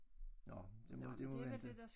Nåh det må det må vente